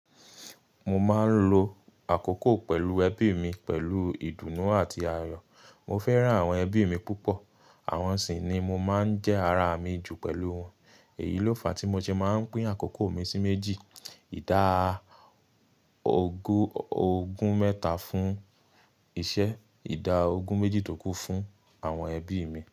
Mo máa ń lo àkókò pẹ̀lú ẹbí mi pẹ̀lú ìdùnnú àti ayọ̀. Mo fẹ́ràn àwọn ẹbí mi púpọ̀, àwọn sì ni mo máa ń jẹ́ ara mi jù pẹ̀lú wọn. Èyí ló fàá tí mo ṣe máa ń pín àkókò mi sí méjì; ìdá ogún ogún mẹ́ta fún iṣẹ́, ìdá ogún méjì tó kú fún àwọn ẹbí mi.